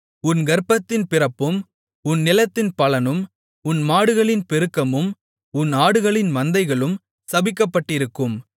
உன் கர்ப்பத்தின் பிறப்பும் உன் நிலத்தின் பலனும் உன் மாடுகளின் பெருக்கமும் உன் ஆடுகளின் மந்தைகளும் சபிக்கப்பட்டிருக்கும்